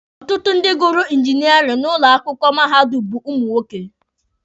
Ọtụtụ ndị gụrụ injiniarin n'ụlọ akwụkwọ mahadum bụ ụmụ nwoke.